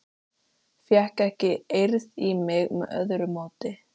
Fékk ekki eirð í mig með öðru móti.